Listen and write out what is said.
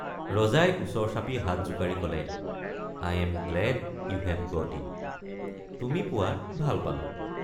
ৰজাই ওচৰ চাপি হাত জোকাৰি কলে I am glad you have got it—তুমি পোৱাত ভাল পালোঁ।